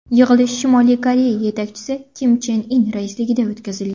Yig‘ilish Shimoliy Koreya yetakchisi Kim Chen In raisligida o‘tkazilgan.